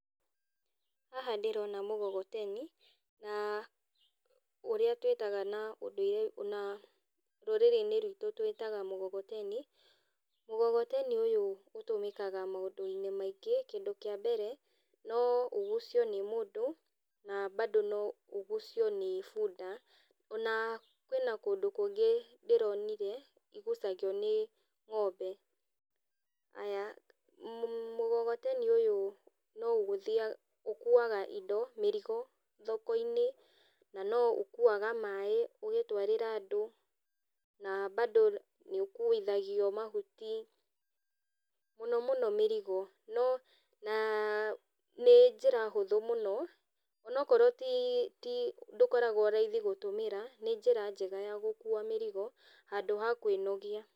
Haha ndĩrona mũgogoteni na ũrĩa twĩtaga na rũrĩrĩ-inĩ rwitũ tũwĩtaga mũgogoteni, mũgogoteni ũyũ ũtũmĩkaga maũndũ-inĩ maingĩ, kindũ kĩa mbere noũgucio nĩ mũndũ na mbando noũgucio nĩ bunda, ona, kwĩna kũndũ kũngĩ ndĩronire igucagio nĩ ng'ombe. Aya, mũmũgogoteni ũyũ noũgũthi ũkuaga indo, mĩrigo, thoko-ini nanoũkuaga maĩ ũgĩtwarĩra andũ, na mbando nĩũkuithagio mahuti, mũno mũno mĩrigo, no na nĩnjĩra hũthũ mũno onakorwo ti ti ndũkoragwo raithi mũno gũtũmĩra, nĩ njĩra njega ya gũkua mĩrigo handũ ha kwĩnogia.